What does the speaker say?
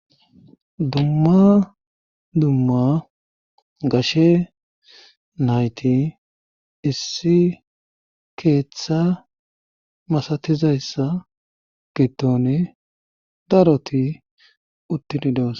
Dumma dumma gashe nayti issi keeththa masatizayssa gittoni daroti uttini doos.